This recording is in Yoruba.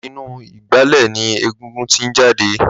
Làtí inú igbàlẹ̀ ni égúngún ti n jàdé